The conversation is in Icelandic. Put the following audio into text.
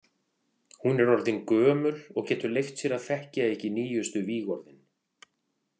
Hún er orðin gömul og getur leyft sér að þekkja ekki nýjustu vígorðin.